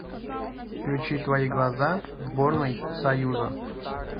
включи твои глаза сборной союза